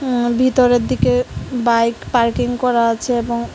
আ ভিতরের দিকে bike parking করা আছে এবং--